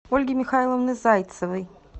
ольги михайловны зайцевой